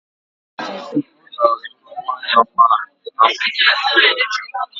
Nkechi si na ọ ga-azụrụ nnwa ya akpụkpọ ụkwụ ọcha